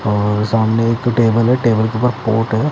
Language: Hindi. और सामने एक तो टेबल है टेबल के पास पोर्ट है।